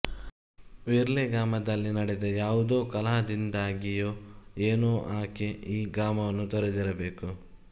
ಮಿರ್ಲೆ ಗ್ರಾಮದಲ್ಲಿ ನಡೆದ ಯಾವುದೋ ಕಲಹದಿಂದಾಗಿಯೋ ಏನೋ ಆಕೆ ಈ ಗ್ರಾಮವನ್ನು ತೊರೆದಿರಬೇಕು